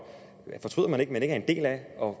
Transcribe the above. og